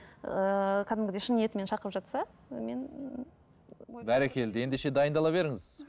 ыыы кәдімгідей шын ниетімен шақырып жатса мен ііі бәрекелді ендеше дайындала беріңіз